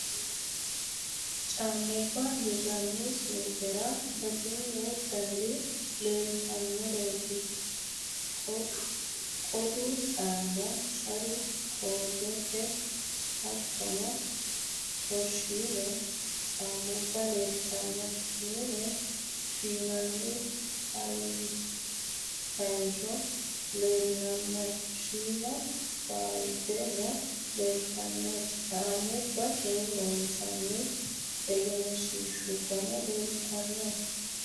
Caammubba hirranni suuqera batinyu daniri leeltannoreeti. Qodu caammu Shari koaatte hattono toorshiine caammubba leeltanno. Mine fiinanni fayinchino leellanno. Shiima baalde no leeltanno. caammubbate loonsoonni egensiishshubbanano leeltanno.